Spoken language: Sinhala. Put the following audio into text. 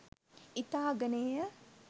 ඉතා අගනේය.